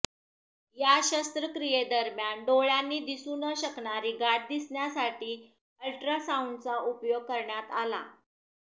या शस्त्रक्रियेदरम्यान डोळ्यांनी दिसू न शकणारी गाठ दिसण्यासाठी अल्ट्रासाऊंडचा उपयोग करण्यात आला